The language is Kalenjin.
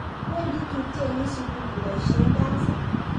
wendi tubchenyin sukul koboisien basit